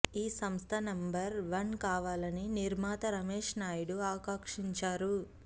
ఈ సంస్థ number one కావాలని నిర్మాత రమేష్ నాయుడు ఆకాంక్షించారు